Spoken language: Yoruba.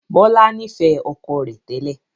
Bọlá nifẹ ọkọ rẹ tẹ́lẹ̀